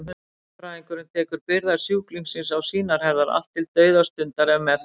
Hjúkrunarfræðingurinn tekur byrðar sjúklingsins á sínar herðar, allt til dauðastundar ef með þarf.